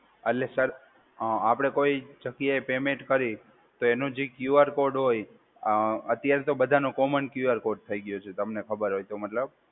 એટલે સર, અ આપડે કોઈ જગ્યાએ પેમેન્ટ કરીએ તો એનું જે ક્યુ આર કોડ હોય, અત્યારે તો બધાનો કોમન ક્યુ આર કોડ થઈ ગયો છે. તમને ખબર હોય તો મતલબ.